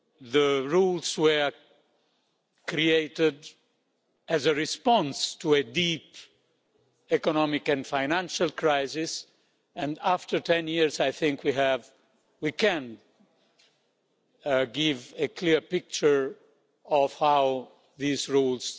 The rules were created as a response to a deep economic and financial crisis and, after ten years, I think we can give a clear picture of how these rules